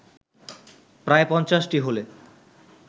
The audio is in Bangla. প্রায় পঞ্চাশটি হলে